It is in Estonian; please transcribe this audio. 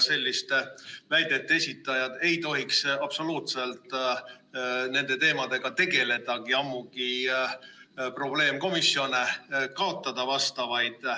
Selliste väidete esitajad ei tohiks absoluutselt nende teemadega tegeledagi, ammugi vastavaid probleemkomisjone kaotada.